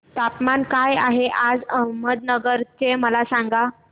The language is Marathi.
तापमान काय आहे आज अहमदनगर चे मला सांगा